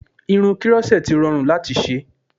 Irun krọ́ṣẹ́tì rọrùn láti ṣe